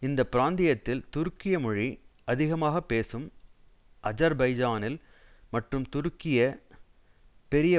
இந்த பிராந்தியத்தில் துருக்கிய மொழி அதிகமாக பேசும் அஜர்பைஜானில் மற்றும் துருக்கி பெரிய